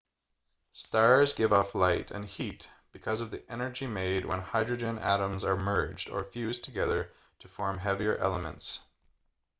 stars give off light and heat because of the energy made when hydrogen atoms are merged or fused together to form heavier elements